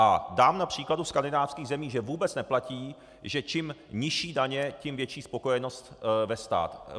A dám na příkladu skandinávských zemí, že vůbec neplatí, že čím nižší daně, tím větší spokojenost ve stát.